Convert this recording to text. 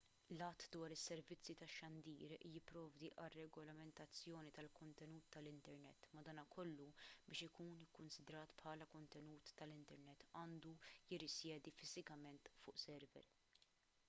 l-att dwar is-servizzi tax-xandir jipprovdi għar-regolamentazzjoni tal-kontenut tal-internet madankollu biex ikun ikkunsidrat bħala kontenut tal-internet għandu jirrisjedi fiżikament fuq server